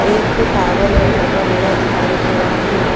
एक टावर भी लगा हुआ दिखाइ दे रहा है।